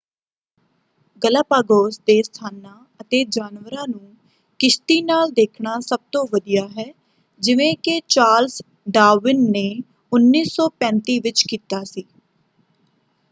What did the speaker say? Galapagos ਦੇ ਸਥਾਨਾਂ ਅਤੇ ਜਾਨਵਰਾਂ ਨੂੰ ਕਿਸ਼ਤੀ ਨਾਲ ਦੇਖਣਾ ਸਭਤੋਂ ਵਧੀਆ ਹੈ ਜਿਵੇਂ ਕਿ ਚਾਰਲਸ ਡਾਰਵੀਨ ਨੇ 1935 ਵਿੱਚ ਕੀਤਾ ਸੀ।